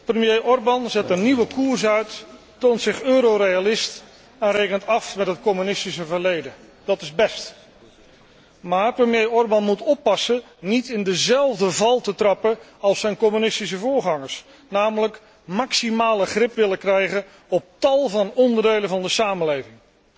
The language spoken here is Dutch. Premier Orbán zet een nieuwe koers uit, toont zich Euro realist en rekent af met het communistische verleden. Dat is best, maar premier Orbán moet oppassen niet in dezelfde val te trappen als zijn communistische voorgangers, namelijk maximale greep willen krijgen op tal van onderdelen van de samenleving.